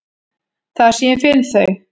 Þar sem ég finn þau.